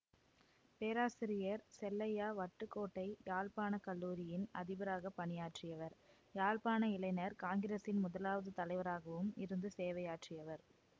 பேராசிரியர் செல்லையா வட்டுக்கோட்டை யாழ்ப்பாண கல்லூரியின் அதிபராகப் பணியாற்றியவர் யாழ்ப்பாண இளைஞர் காங்கிரசின் முதலாவது தலைவராகவும் இருந்து சேவையாற்றியவர்